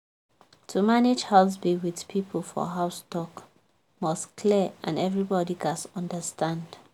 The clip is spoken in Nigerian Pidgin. to manage house bill with people for house talk must clear and everybody gats understand.